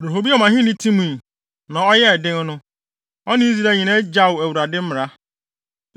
Rehoboam ahenni timii, na ɔyɛɛ den no, ɔne Israel nyinaa gyaw Awurade mmara.